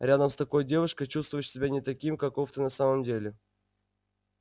рядом с такой девушкой чувствуешь себя не таким каков ты на самом деле